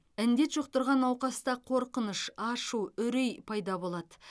індет жұқтырған науқаста қорқыныш ашу үрей пайда болады